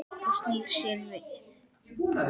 Og snýr sér við.